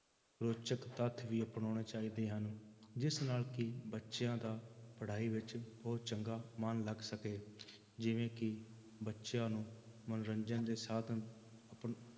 ਰੋਚਕ ਤੱਤ ਵੀ ਅਪਨਾਉਣੇ ਚਾਹੀਦੇ ਹਨ, ਜਿਸ ਨਾਲ ਕਿ ਬੱਚਿਆਂ ਦਾ ਪੜ੍ਹਾਈ ਵਿੱਚ ਬਹੁਤ ਚੰਗਾ ਮਨ ਲੱਗ ਸਕੇ ਜਿਵੇਂ ਕਿ ਬੱਚਿਆਂ ਨੂੰ ਮੰਨੋਰੰਜਨ ਦੇ ਸਾਧਨ